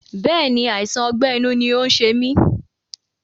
Bẹ́ẹ̀ni, àìsàn ọgbẹ́ inú ni ó ń ṣe mí